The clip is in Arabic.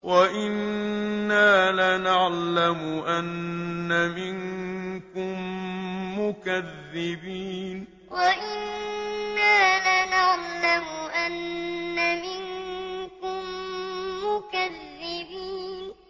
وَإِنَّا لَنَعْلَمُ أَنَّ مِنكُم مُّكَذِّبِينَ وَإِنَّا لَنَعْلَمُ أَنَّ مِنكُم مُّكَذِّبِينَ